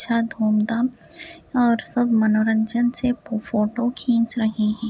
धूमधाम और मनोरंजन से सब फोटो खींच रहे है ।